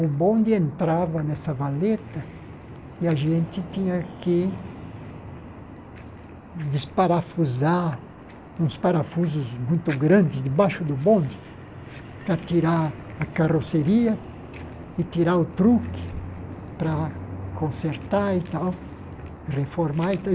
o bonde entrava nessa valeta e a gente tinha que desparafusar uns parafusos muito grandes debaixo do bonde para tirar a carroceria e tirar o truque para consertar e tal, reformar e